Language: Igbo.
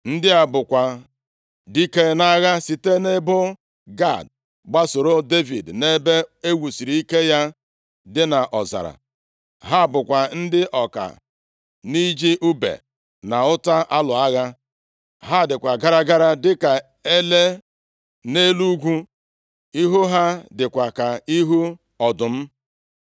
Ndị a bụkwa dike nʼagha sitere nʼebo Gad gbasoo Devid nʼebe e wusiri ike ya dị nʼọzara. Ha bụkwa ndị ọka nʼiji ùbe na ọta alụ agha. Ha dịkwa gara gara dịka ele nʼelu ugwu, ihu ha dịkwa ka ihu ọdụm.